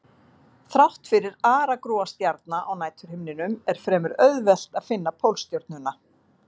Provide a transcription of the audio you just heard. Þrátt fyrir aragrúa stjarna á næturhimninum er fremur auðvelt að finna Pólstjörnuna.